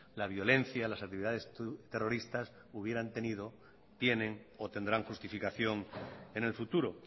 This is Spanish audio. la violencia las actividades terroristas hubieran tenido tienen o tendrán justificación en el futuro